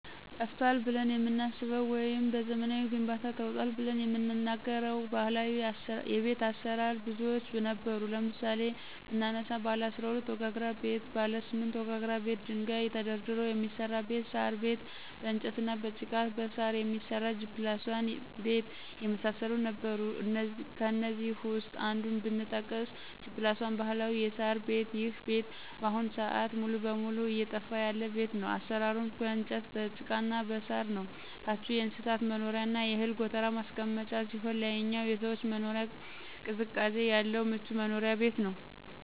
ጠፍቷል ብለን የምናስበው ወይም በዘመናዊ ግንባታ ተውጧል ብለን የምንናገረው ባህላዊ ቤት አሰራር ብዙዎች ነበሩ ለምሳሌ ብናነሳቸው ባለ12 ወጋግራ ቤት :ባለ8 ወጋግራ ቤት ደንጋይ ተደርድሮ የሚሰራ ቤት :ሳር ቤት በእንጨትና በጭቃ በሳር የሚሰራ G+1 ቤት የመሳሰሉት ነበሩ ከእነዚህ ውስጥ አንዱን ብጠቅስ G+1 ባህላዊ የሳር ቤት ይሄ ቤት በአሁኑ ስአት ሙሉ በሙሉ እየጠፋ ያለ ቤት ነው አሰራሩም በእንጨት በጭቃና በሳር ነው ታቹ የእንስሳት መኖሪያና የእህል ጎተራ ማስቀመጫ ሲሆን ላይኛው የሰዎች መኖሪያ ቅዝቃዜ ያለው ምቹ መኖሪያ ቤት ነበር።